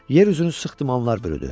Yer üzünü sıxdı, qarlar bürüdü.